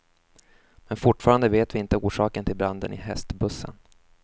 Men fortfarande vet vi inte orsaken till branden i hästbussen.